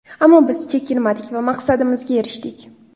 Ammo biz chekinmadik va maqsadimizga erishdik.